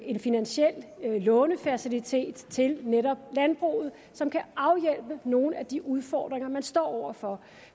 en finansiel lånefacilitet til netop landbruget som kan afhjælpe nogle af de udfordringer man står over for